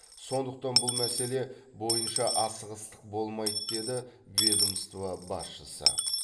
сондықтан бұл мәселе бойынша асығыстық болмайды деді ведомство басшысы